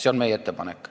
See on meie ettepanek.